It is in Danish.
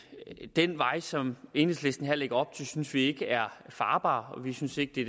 den vej som enhedslisten her lægger op til synes vi ikke er farbar vi synes ikke det